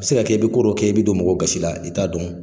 bɛ se ka kɛ i bɛ ko dɔ kɛ i bɛ don mɔgɔw gasi la i t'a dɔn.